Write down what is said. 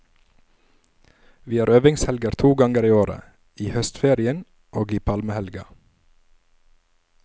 Vi har øvingshelger to ganger i året, i høstferien og i palmehelga.